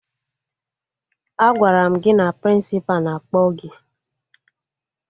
Agwara m gị na Prịnsịpa na-akpọ gị!